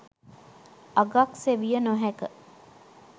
අගක් සෙවිය නොහැක.